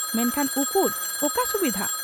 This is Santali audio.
ᱢᱮᱱᱠᱷᱟᱱ ᱩᱠᱩᱨ ᱚᱠᱟ ᱥᱩᱵᱤᱫᱷᱟᱹ ?